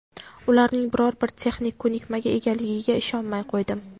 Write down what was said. ularning biror bir texnik ko‘nikmaga egaligiga ishonmay qo‘ydim.